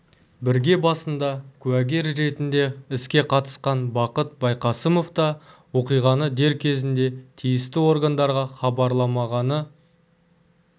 бірге басында куәгер ретінде іске қатысқан бақыт байқасымов та оқиғаны дер кезінде тиісті органдарға хабарламағаны